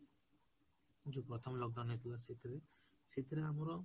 ଯୋଉ ପ୍ରଥମ lockdown ହେଇଥିଲା ସେଇଥେର, ସେଇଥେର ଆମର